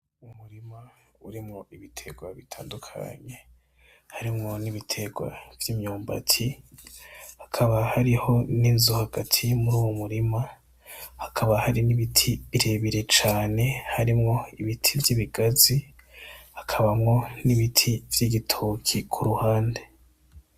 Umurima urimwo ibiterwa bitandukanye, harimwo n'ibiterwa vy'imyumbati, hakaba hariho n'inzu hagati muri uwo murima, hakaba hari n'ibiti birebire cane harimwo ibiti vy'ibigazi, hakabamwo n'ibiti vy'ibitoke ku ruhande.